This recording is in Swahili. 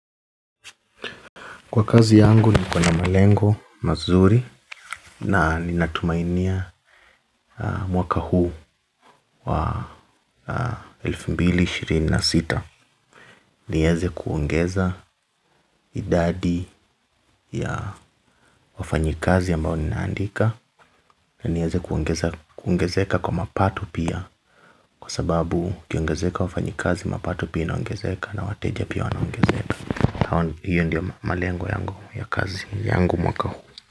Kwa kazi yangu niko na malengo mazuri na ninatumainia mwaka huu wa elfu mbili ishirini na sita niweze kuongeza idadi ya wafanyikazi ambao ninaandika nieze kuongezeka kwa mapato pia kwa sababu kukiongezeka wafanyikazi mapato pia inaongezeka na wateja pia wanaongezeka hiyo ndio malengo yangu ya kazi yangu mwaka huu.